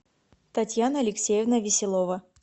татьяна алексеевна веселова